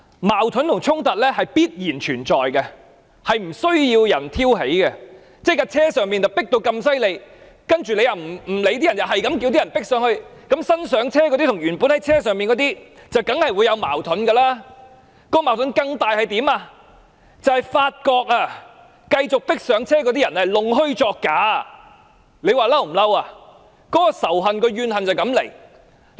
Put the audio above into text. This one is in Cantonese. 矛盾和衝突必然存在，並不需要人挑起，等同巴士內已非常擠迫，但司機又不顧及乘客，反而繼續讓人擠進車廂，這樣新上車的人和原本已在巴士內的人當然會出現矛盾，更大的矛盾是大家發覺繼續擠上車的人原來弄虛作假，憤怒，仇恨和怨恨便由此而生。